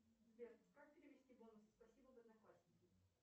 сбер как перевести бонусы спасибо в одноклассники